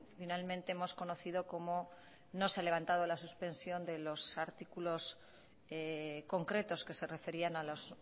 finalmente hemos conocido como no se ha levantado la suspensión de los artículos concretos que se referían a los